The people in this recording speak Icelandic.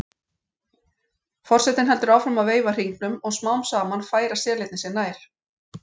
Forsetinn heldur áfram að veifa hringnum og smám saman færa selirnir sig nær.